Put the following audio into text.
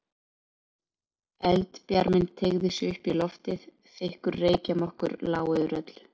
Eldbjarminn teygði sig upp í loftið, þykkur reykjarmökkur lá yfir öllu.